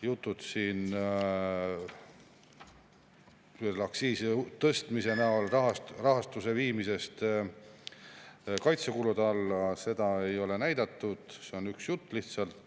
Jutud aktsiiside tõstmise näol rahastuse viimisest kaitsekulude alla – seda ei ole näidatud, see on lihtsalt üks jutt.